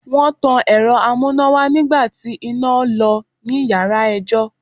Wọ́n tan Ẹ̀rọ amúnáwá nígbà tí iná lọ ní yàrá ẹjọ́.